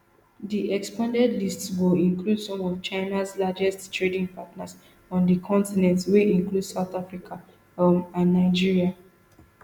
di expanded list go include some of china largest trading partners on di continent wey include south africa um and nigeria